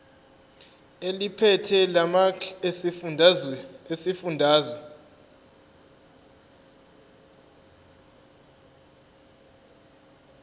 eliphethe lamarcl esifundazwe